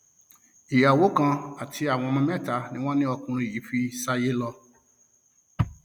ìyàwó kan àti ọmọ mẹta ni wọn ní ọkùnrin yìí fi ṣáyé lọ